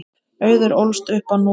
Auður ólst upp á Núpi.